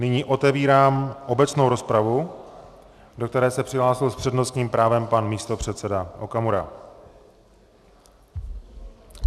Nyní otevírám obecnou rozpravu, do které se přihlásil s přednostním právem pan místopředseda Okamura.